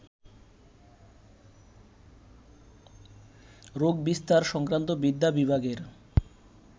রোগবিস্তার সংক্রান্ত বিদ্যা বিভাগের